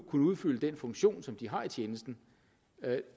kunne udfylde den funktion som de har i tjenesten